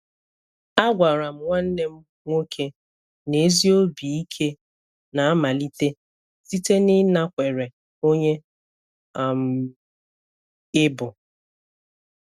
A gwara m nwanne m nwoke na ezi obi ike na-amalite site n'ịnakwere onye um ị bụ.